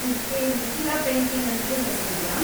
ಇದ್ಕೇ ಮಿಥಿಲಾ ಪೇಂಟಿಂಗ್‌ ಅಂತ್ಲೂ ಹೆಸ್ರಿದೆಯಾ?